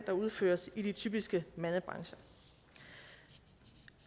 der udføres i de typiske mandebrancher